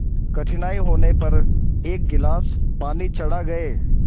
कठिनाई होने पर एक गिलास पानी चढ़ा गए